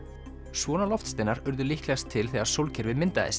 svona loftsteinar urðu líklegast til þegar sólkerfið myndaðist